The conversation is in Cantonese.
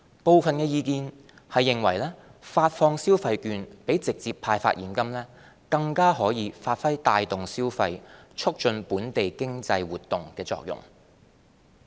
部分意見認為發放消費券比直接派發現金，更可發揮帶動消費、促進本地經濟活動的作用。